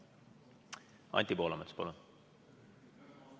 Anti Poolamets, palun!